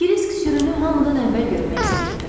Krisk sürünü hamıdan əvvəl görmək istəyirdi.